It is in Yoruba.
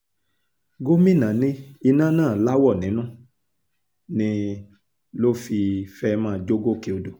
gomina ní iná náà láwọ̀ nínú ni ló fi fẹ́ẹ́ máa jó gòkè odò